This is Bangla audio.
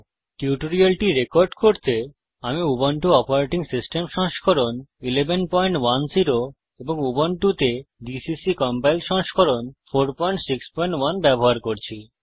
এই টিউটোরিয়ালটি রেকর্ড করতে আমি উবুন্টু অপারেটিং সিস্টেম সংস্করণ 1110 এবং উবুন্টুতে জিসিসি কম্পাইলার সংস্করণ 461 ব্যবহার করছি